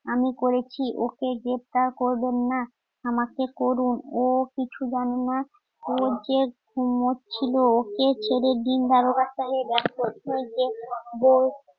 আমি করেছি ওকে গ্রেফতার করবেন না আমাকে করুন ও কিছু জানেনা ওর যে ঘুমোচ্ছিল ওকে ছেড়ে দিন যে বউ